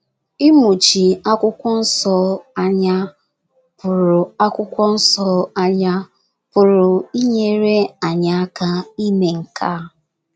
Ịmụchi akwụkwọ nso anya pụrụ nso anya pụrụ inyere anyị aka ime nke a.